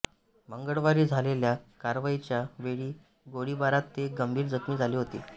मंगळवारी झालेल्या कारवाईच्या वेळी गोळीबारात ते गंभीर जखमी झाले होते